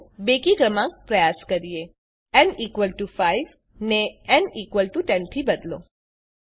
ચાલો બેકી ક્રમાંક પ્રયાસ કરીએ ન 5 ને ન 10 થી બદલો